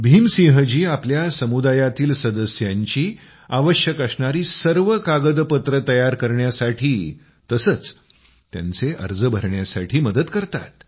भीम सिंह जी आपल्या समुदायातील सदस्यांची आवश्यक असणारी सर्व कागदपत्रं तयार करण्यासाठी तसंच त्यांचे अर्ज भरण्यासाठी मदत करतात